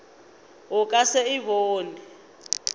o ka se e bone